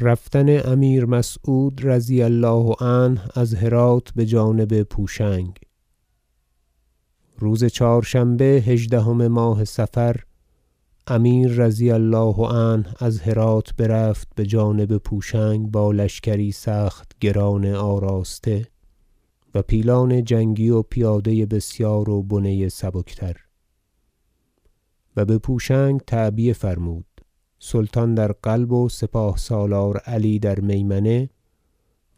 رفتن امیر مسعود رضی الله عنه از هرات بجانب پوشنگ روز چهارشنبه هژدهم ماه صفر امیر رضی الله عنه از هرات برفت بجانب پوشنگ با لشکری سخت گران آراسته و پیلان جنگی و پیاده بسیار و بنه سبک تر و بپوشنگ تعبیه فرمود سلطان در قلب و سپاه سالار علی در میمنه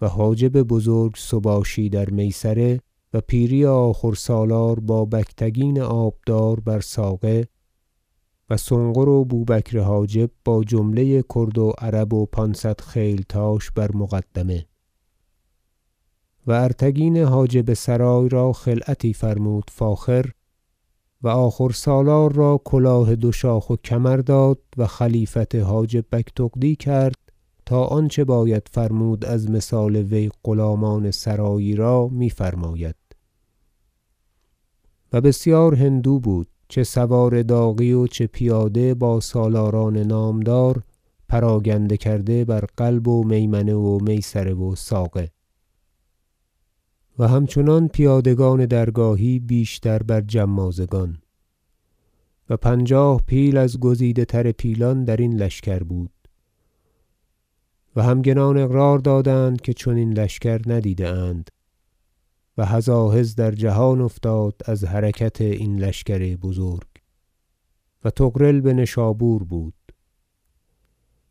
و حاجب بزرگ سباشی در میسره و پیری آخور سالار با بگتگین آبدار بر ساقه و سنقر و بوبکر حاجب با جمله کرد و عرب و پانصد خیلتاش بر مقدمه و ارتگین حاجب سرای را خلعتی فرمود فاخر و آخور سالار را کلاه دو شاخ و کمر داد و خلیفت حاجب بگتغدی کرد تا آنچه باید فرمود از مثال وی غلامان سرایی را میفرماید و بسیار هندو بود چه سوار داغی و چه پیاده با سالاران نامدار پراگنده کرده بر قلب و میمنه و میسره و ساقه و همچنان پیادگان درگاهی بیشتر بر جمازگان و پنجاه پیل از گزیده تر پیلان درین لشکر بود و همگنان اقرار دادند که چنین لشکر ندیده اند و هزاهز در جهان افتاد از حرکت این لشکر بزرگ و طغرل بنشابور بود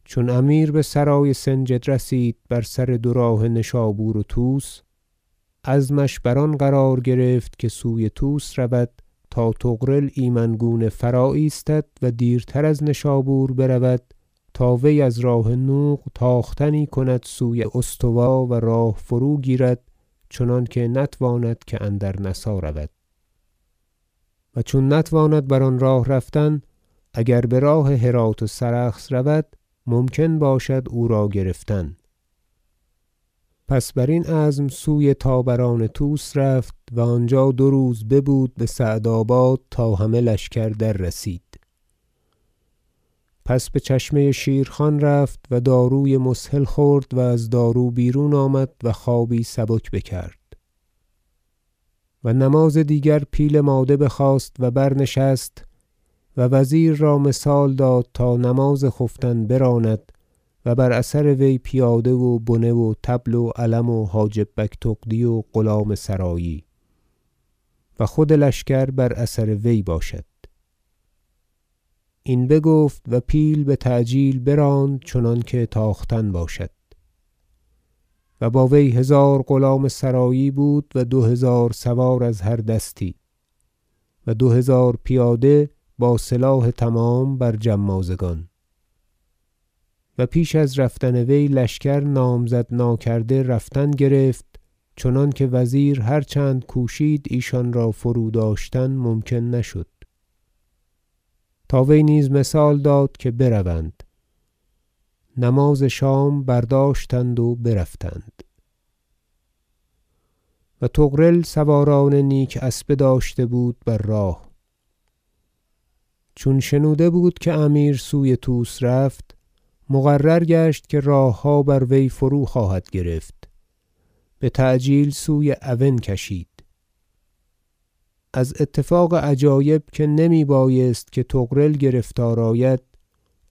چون امیر بسرای سنجد رسید بر سر دو راه نشابور و طوس عزمش بر آن قرار گرفت که سوی طوس رود تا طغرل ایمن گونه فرا ایستد و دیرتر از نشابور برود تا وی از راه نوق تاختنی کند سوی استوا و راه فروگیرد چنانکه نتواند که اندر نسا رود و چون نتواند بر آن راه رفتن اگر براه هرات و سرخس رود ممکن باشد او را گرفتن پس بر این عزم سوی طابران طوس رفت و آنجا دو روز ببود بسعد آباد تا همه لشکر دررسید پس بچشمه شیرخان رفت و داروی مسهل خورد و از دارو بیرون آمد و خوابی سبک بکرد و نماز دیگر پیل ماده بخواست و برنشست و وزیر را مثال داد تا نماز خفتن براند و بر اثر وی پیاده و بنه و طبل و علم و حاجب بگتغدی و غلام سرایی و خود لشکر بر اثر وی باشد این بگفت و پیل بتعجیل براند چنانکه تاختن باشد و با وی هزار غلام سرایی بود و دو هزار سوار از هر دستی و دو هزار پیاده با سلاح تمام بر جمازگان و پیش از رفتن وی لشکر نامزد ناکرده رفتن گرفت چنانکه وزیر هر چند کوشید ایشان را فروداشتن ممکن نشد تا وی نیز مثال داد که بروند نماز شام برداشتند و برفتند و طغرل سواران نیک اسبه داشته بود بر راه چون شنوده بود که امیر سوی طوس رفت مقرر گشت که راهها بر وی فروخواهد گرفت بتعجیل سوی اون کشید از اتفاق عجایب که نمی بایست که طغرل گرفتار آید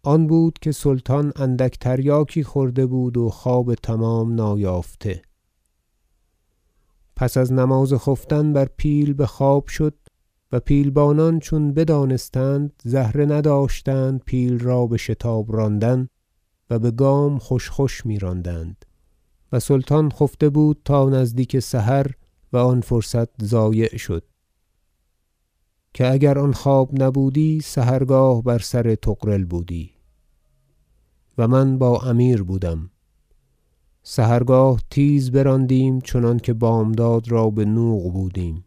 آن بود که سلطان اندک تریاکی خورده بود و خواب تمام نایافته پس از نماز خفتن بر پیل بخواب شد و پیلبانان چون بدانستند زهره نداشتند پیل را بشتاب راندن و بگام خوش خوش میراندند و سلطان خفته بود تا نزدیک سحر و آن فرصت ضایع شد که اگر آن خواب نبودی سحرگاه بر سر طغرل بودی و من با امیر بودم سحرگاه تیز براندیم چنانکه بامداد را بنوق بودیم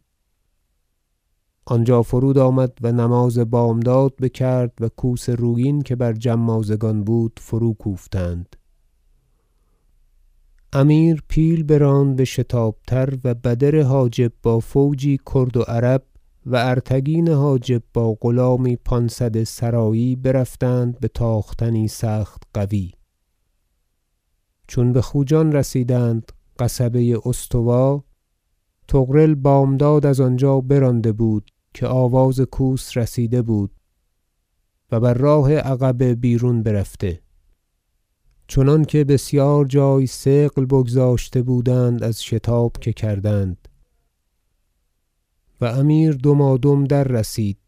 آنجا فرود آمد و نماز بامداد بکرد و کوس رویین که بر جمازگان بود فروکوفتند امیر پیل براند بشتاب تر و بدر حاجب با فوجی کرد و عرب و ارتگین حاجب با غلامی پانصد سرایی برفتند بتاختنی سخت قوی چون بخوجان رسیدند قصبه استوا طغرل بامداد از آنجا برانده بود که آواز کوس رسیده بود و بر راه عقبه بیرون برفته چنانکه بسیار جای ثقل بگذاشته بودند از شتاب که کردند و امیر دمادم در رسید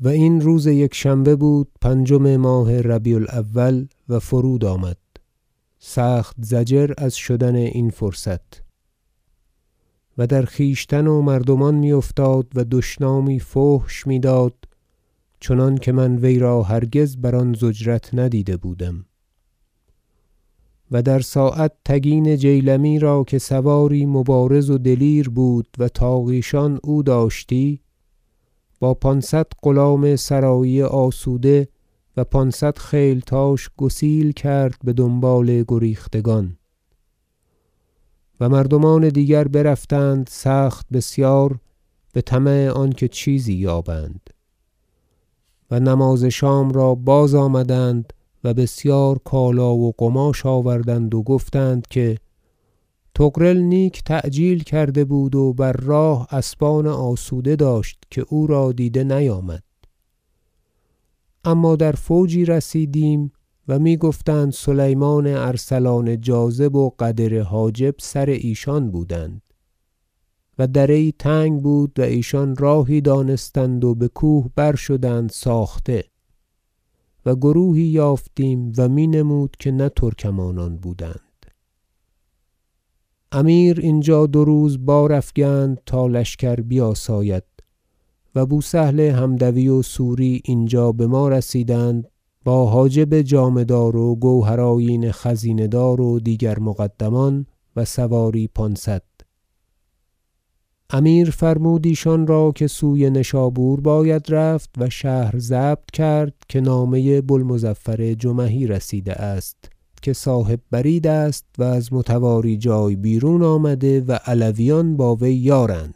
و این روز یکشنبه بود پنجم ماه ربیع الأول و فرود آمد سخت ضجر از شدن این فرصت و در خویشتن و مردمان میافتاد و دشنامی فحش میداد چنانکه من وی را هرگز بر آن ضجرت ندیده بودم و در ساعت تگین جیلمی را که سواری مبارز و دلیر بود و تاقیشان او داشتی با پانصد غلام سرایی آسوده و پانصد خیلتاش گسیل کرد بدنبال گریختگان و مردمان دیگر برفتند سخت بسیار بطمع آنکه چیزی یابند و نماز شام را بازآمدند و بسیار کالا و قماش آوردند و گفتند که طغرل نیک تعجیل کرده بود و بر راه اسبان آسوده داشت که او را دیده نیامد اما در فوجی رسیدیم و میگفتند سلیمان ارسلان جاذب و قدر حاجب سر ایشان بودند و دره یی تنگ بود و ایشان راهی دانستند و بکوه بر شدند ساخته و گروهی یافتیم و می نمود که نه ترکمانان بودند امیر اینجا دو روز بار افگند تا لشکر بیاساید و بو سهل حمدوی و سوری اینجا بما رسیدند با حاجب جامه دار و گوهر آیین خزینه دار و دیگر مقدمان و سواری پانصد امیر فرمود ایشان را که سوی نشابور باید رفت و شهر ضبط کرد که نامه بو المظفر جمحی رسیده است که صاحب برید است و از متواری جای بیرون آمده و علویان با وی یارند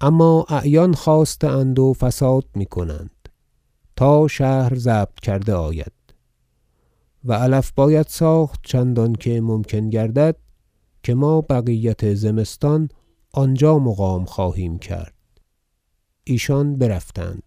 اما اعیان خاسته اند و فساد میکنند تا شهر ضبط کرده آید و علف باید ساخت چندانکه ممکن گردد که ما بقیت زمستان آنجا مقام خواهیم کرد ایشان برفتند